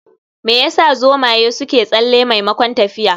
Me yasa zomaye suke tsalle maimakon tafiya?